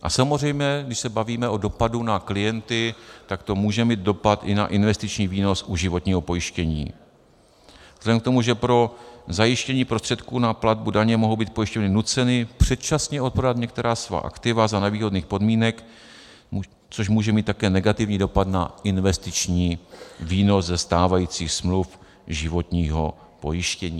A samozřejmě když se bavíme o dopadu na klienty, tak to může mít dopad i na investiční výnos u životního pojištění vzhledem k tomu, že pro zajištění prostředků na platbu daně mohou být pojišťovny nuceny předčasně odprodat některá svá aktiva za nevýhodných podmínek, což může mít také negativní dopad na investiční výnos ze stávajících smluv životního pojištění.